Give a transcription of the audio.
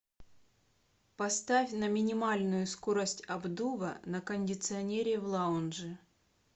поставь на минимальную скорость обдува на кондиционере в лаунже